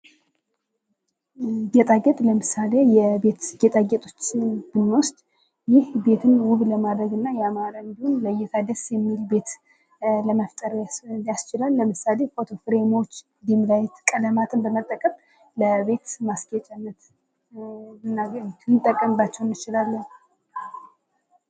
ጌጣጌጥ ለምሳሌ የቤት ጌጣጌጦችን ብንወስድ ይህ ቤትን ውብ ለማድረግና አማረ እንዲሁም ለይታ ደስ የሚል ቤት ለመፍጠር የሚያስችልን ለምሳሌ ፎቶ ፍሬሞች ዲም ላይት ቀለማትን በመጠቀም ለቤት ማስጌጫነት ልንጠቀምባቸው እንችላለን ::